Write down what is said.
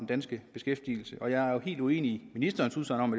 danske beskæftigelse jeg er helt uenig i ministerens udsagn om